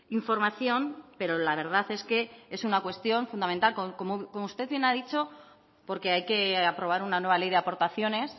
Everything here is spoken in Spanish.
información pero la verdad es que es una cuestión fundamental como usted bien ha dicho porque hay que aprobar una nueva ley de aportaciones